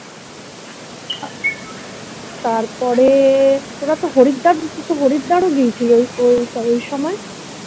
তারপরে তোরা তো হরিদ্বার তুই তো Haridwar ও গিয়েছিলি ওই ওই ওই সময়